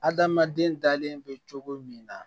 Adamaden dalen bɛ cogo min na